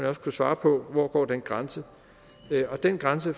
også kunne svare på hvor går den grænse og den grænse